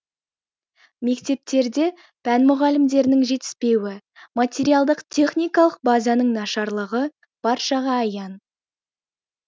мектептерде пән мұғалімдерінің жетіспеуі материалдық техникалық базаның нашарлығы баршаға аян